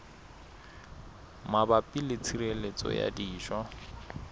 mabapi le tshireletso ya dijo